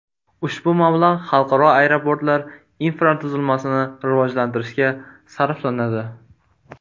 Ushbu mablag‘ xalqaro aeroportlar infratuzilmasini rivojlantirishga sarflanadi.